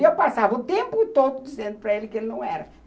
E eu passava o tempo todo dizendo para ele que ele não era.